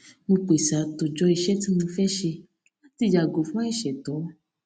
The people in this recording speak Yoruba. mo pèsè àtòjọ iṣẹ tí mo fẹ ṣe láti yàgò fún àìṣètọ